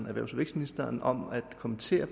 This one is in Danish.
erhvervs og vækstministeren om at kommentere